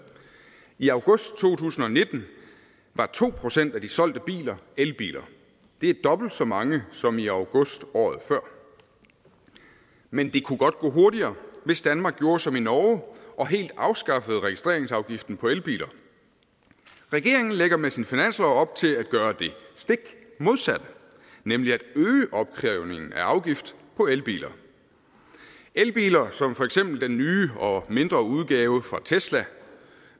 i august to tusind og nitten var to procent af de solgte biler elbiler det er dobbelt så mange som i august året før men det kunne godt gå hurtigere hvis danmark gjorde som i norge og helt afskaffede registreringsafgiften på elbiler regeringen lægger med sin finanslov op til at gøre det stik modsatte nemlig at øge opkrævningen af afgift på elbiler elbiler som for eksempel den nye og mindre udgave fra tesla